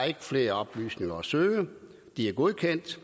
er flere oplysninger at søge at de er godkendt